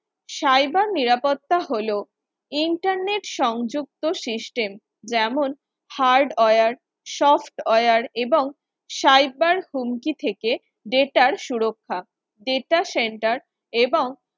cyber নিরাপত্তা হলো internet সংযুক্ত system যেমন Hardware software এবং cyber হুমকি থেকে data সুরক্ষা data centre এবং